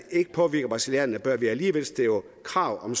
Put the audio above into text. påvirke brasilianerne bør vi alligevel stille krav om